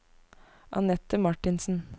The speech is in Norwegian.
Annette Martinsen